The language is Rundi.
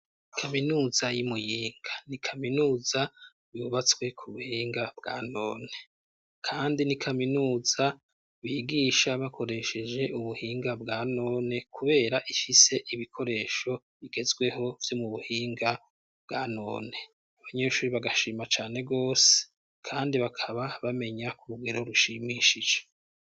Kaminuza y'i Muyinga ni kaminuza yubatswe ku buhinga bwa none kandi ni kaminuza bigisha bakoresheje ubuhinga bwa none kubera ifise ibikoresho bigezweho vyo mu buhinga bwa none abanyeshuri bagashima cane gose kandi bakaba bamenya ku rugero rushimishije.